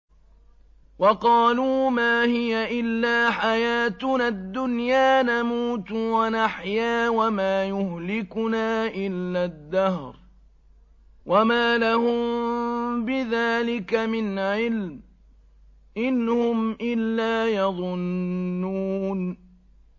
وَقَالُوا مَا هِيَ إِلَّا حَيَاتُنَا الدُّنْيَا نَمُوتُ وَنَحْيَا وَمَا يُهْلِكُنَا إِلَّا الدَّهْرُ ۚ وَمَا لَهُم بِذَٰلِكَ مِنْ عِلْمٍ ۖ إِنْ هُمْ إِلَّا يَظُنُّونَ